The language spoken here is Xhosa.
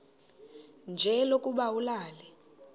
nje lokuba ulale